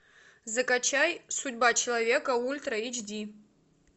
закачай судьба человека ультра эйч ди